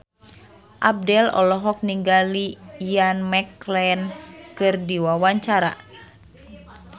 Abdel olohok ningali Ian McKellen keur diwawancara